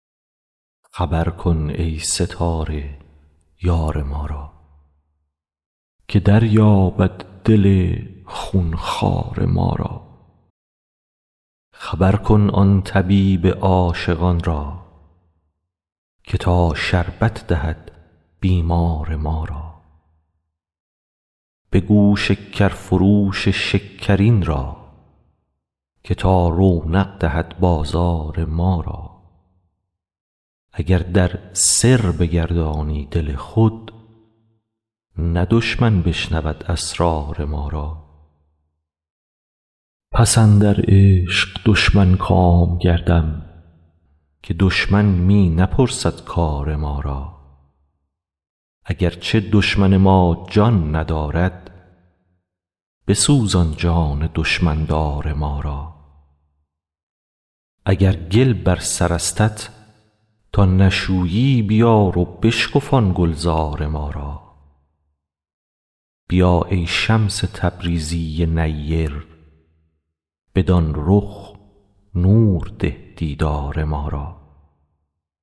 خبر کن ای ستاره یار ما را که دریابد دل خون خوار ما را خبر کن آن طبیب عاشقان را که تا شربت دهد بیمار ما را بگو شکرفروش شکرین را که تا رونق دهد بازار ما را اگر در سر بگردانی دل خود نه دشمن بشنود اسرار ما را پس اندر عشق دشمن کام گردم که دشمن می نپرسد کار ما را اگر چه دشمن ما جان ندارد بسوزان جان دشمن دار ما را اگر گل بر سرستت تا نشویی بیار و بشکفان گلزار ما را بیا ای شمس تبریزی نیر بدان رخ نور ده دیدار ما را